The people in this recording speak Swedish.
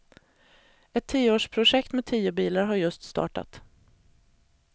Ett tioårsprojekt med tio bilar har just startat.